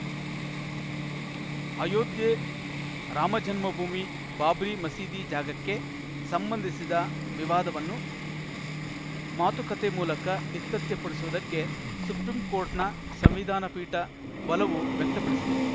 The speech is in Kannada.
ಅಯೋಧ್ಯೆ ರಾಮಜನ್ಮಭೂಮಿ ಬಾಬ್ರಿ ಮಸೀದಿ ಜಾಗಕ್ಕೆ ಸಂಬಂಧಿಸಿದ ವಿವಾದವನ್ನು ಮಾತುಕತೆ ಮೂಲಕ ಇತ್ಯರ್ಥಪಡಿಸುವುದಕ್ಕೆ ಸುಪ್ರೀಂಕೋರ್ಟ್‌ನ ಸಂವಿಧಾನ ಪೀಠ ಒಲವು ವ್ಯಕ್ತಪಡಿಸಿದೆ